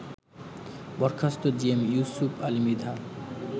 বরখাস্ত জিএম ইউসুপ আলী মৃধা